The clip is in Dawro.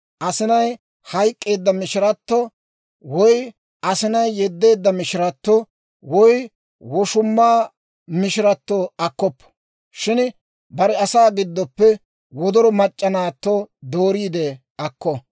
Asinay hayk'k'eedda mishirato, woy asinay yeddeedda mishirato, woy woshumaa mishirato akkoppo. Shin bare asaa giddoppe wodoro mac'c'a naatto dooriide akko.